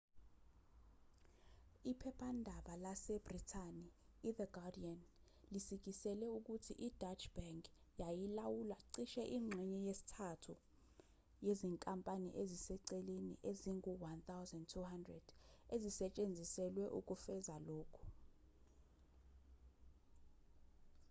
iphephandaba lasebhrithani ithe guardian lisikisele ukuthi ideutsche bank yayilawula cishe ingxenye yesithathu yezinkampani eziseceleni ezingu-1200 ezisetshenziselwe ukufeza lokhu